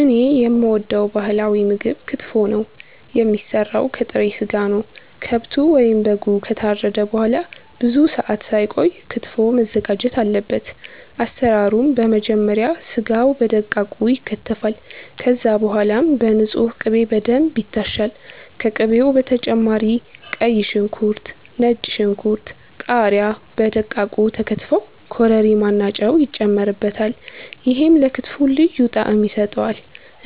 እኔ የምወደው ባህላዊ ምግብ ክትፎ ነው። የሚሰራው ከጥሬ ስጋ ነው። ከብቱ ወይም በጉ ከታረደ በኋላ ብዙ ሰአት ሳይቆይ ክትፎው መዘጋጀት አለበት። አሰራሩም በመጀመሪያ ስጋው በደቃቁ ይከተፋል። ከዛም በኋላ በንጹህ ቅቤ በደንብ ይታሻል። ከቅቤው በተጨማሪ ቀይ ሽንኩርት፣ ነጭ ሽንኩርት፣ ቃሪያ በደቃቁ ተከትፈው ኮረሪማ እና ጨው ይጨመርበታል። ይሄም ለክትፎው ልዩ ጣዕም ይሰጠዋል።